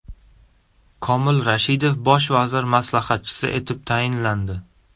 Komil Rashidov bosh vazir maslahatchisi etib tayinlandi.